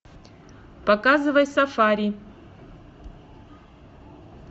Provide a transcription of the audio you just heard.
показывай сафари